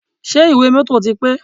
Ṣé ìwé mọ́tọ̀ ti pé?